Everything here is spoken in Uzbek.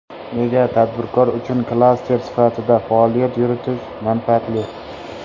Nega tadbirkor uchun klaster sifatida faoliyat yuritish manfaatli?